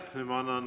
Aitäh!